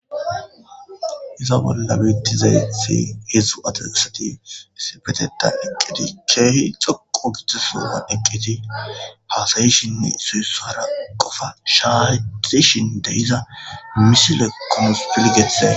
Iza bolla biittize i heedzdzu ateassati sipeteta iqqiti keehi xoqo giddisoa eqqiti haasayishinne suyussara qofa shaazishin deiza misile konspilgeththe.